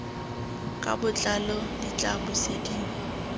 ka botlalo di tla busediwa